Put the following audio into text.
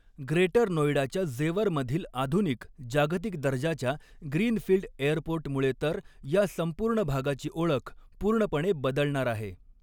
Greater नोएडाच्या ज़ेवर मधील आधुनिक, जागतिक दर्जाच्या ग्रीनफील्ड एयरपोर्ट मुळे तर या संपूर्ण भागाची ओळख पूर्णपणे बदलणार आहे.